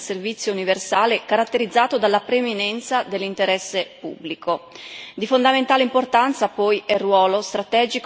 Ciò, però, a condizione che non vengano meno il ruolo e la funzione del servizio universale, caratterizzato dalla preminenza dell'interesse pubblico.